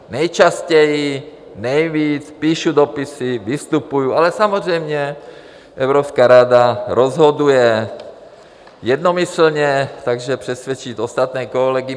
Nejčastěji, nejvíc, píšu dopisy, vystupuji, ale samozřejmě Evropská rada rozhoduje jednomyslně, takže přesvědčit ostatní kolegy.